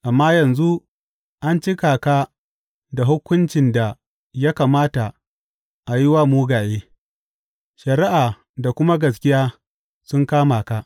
Amma yanzu an cika ka da hukuncin da ya kamata a yi wa mugaye; shari’a da kuma gaskiya sun kama ka.